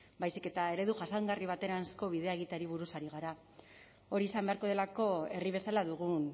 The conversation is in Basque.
baizik eta eredu jasangarri bateranzko bidea egiteari buruz ari gara hori izan beharko delako herri bezala dugun